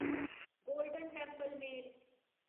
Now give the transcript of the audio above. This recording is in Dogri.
golden Temple mail